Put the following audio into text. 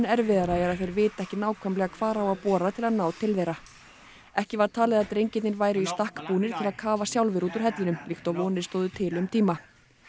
erfiðara er að þeir vita ekki nákvæmlega hvar á að bora til að ná til þeirra ekki var talið að drengirnir væru í stakk búnir til að kafa sjálfir út úr hellinum líkt og vonir stóðu til um tíma